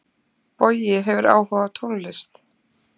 Bogi hefur áhuga á tónlist.